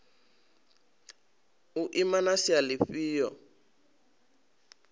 u ima na sia lifhio